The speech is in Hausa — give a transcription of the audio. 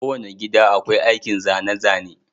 Kowane gida akwai aikin zane-zane.